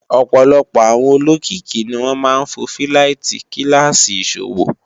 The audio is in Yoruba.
ọ̀pọ̀lọpọ̀ àwọn olókìkí ni wọ́n máa ń fò fíláìtí kíláàsì ìṣòwò